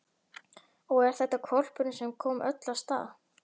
Og er þetta hvolpurinn sem kom öllu af stað?